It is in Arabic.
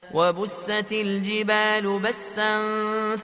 وَبُسَّتِ الْجِبَالُ بَسًّا